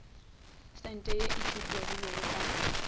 sente ye e tsupegilego ka